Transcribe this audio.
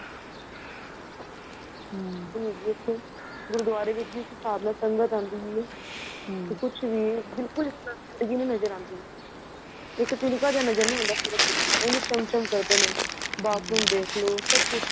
ਗੁਰੁਦੁਆਰੇ ਵਿੱਚ ਜਿਸ ਜਿਸਾਬ ਨਾਲ ਸੰਗਤ ਆਦੀ ਏ ਕੁੱਛ ਵੀ ਬਿਲਕੁਲ ਵੀ ਨਜ਼ਰ ਨਹੀਂ ਆਉਦੀ ਇੱਕ ਤਿੱਨਕਾ ਜਾਂ ਨਜ਼ਰ ਨਹੀਂ ਆਦਾ ਉੱਝ ਚੰਮ ਚੰਮ ਕਰਦੇ ਨੇ bathroom ਦੇਖਲੋ ਸਭ ਕੁੱਛ